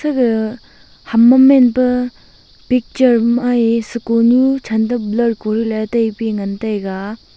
gaga ham ma men pe picture mai e sikonu chan to blor kori le tai pe ngan tega.